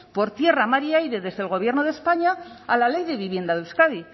por tierra mar y aire desde el gobierno de españa a la ley de vivienda de euskadi